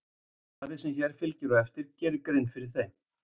Svarið sem hér fylgir á eftir gerir grein fyrir þeim.